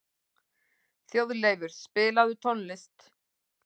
Þjóðleifur, spilaðu tónlist.